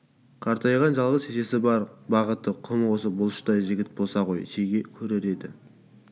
қартайған жалғыз шешесі бар бағыты құмы осы бұлыштай жігіт болса ғой шеге көрер еді